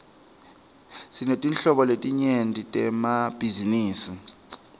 sinetetinhlobo letinyenti temabhizinisi